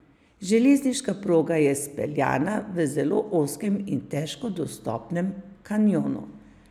Železniška proga je speljana v zelo ozkem in težko dostopnem kanjonu.